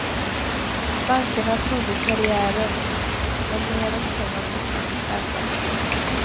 Bankerna snodde karriären, men neråt kan man fortfarande sparka.